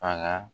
A la